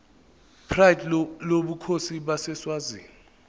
pride lobukhosi baseswazini